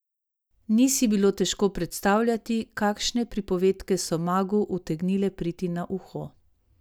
Ni si bilo težko predstavljati, kakšne pripovedke so magu utegnile priti na uho.